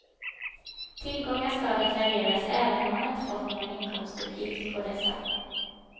Tillgångar ska deklareras även om man inte fått någon inkomstuppgift på dessa.